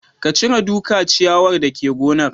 Ka cire duka ciyawar dake gonar